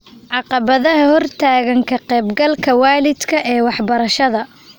Caqabadaha hortaagan ka qayb galka waalidka ee waxbarashada